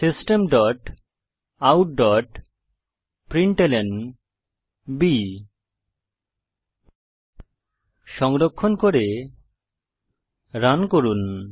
system dot out dot println সংরক্ষণ করে run করুন